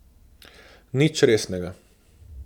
Nič resnega!